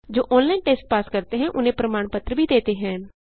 जो online test pass करते हैं उन्हें प्रमाण पत्र भी देते हैं